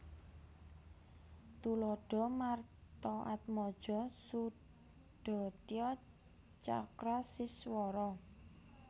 Tuladha Martaatmaja Sudatya Cakra Siswara